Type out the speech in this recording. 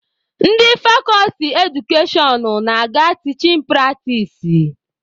Ndị fakọlti edukashọn na-aga tichin pratis.